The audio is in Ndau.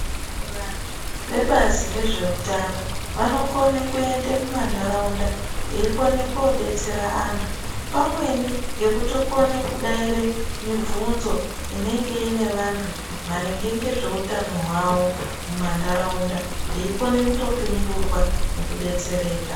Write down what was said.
Vantu vebazi rezve utano vano kone kuende muma ndaraunda vei kone kodetsera antu pamweni ngekuto kone kudaire mibvunzo inenge ine vantu maringe ngezve utano muma ndaraunda vei kone kuto pingurwa neku detsereka.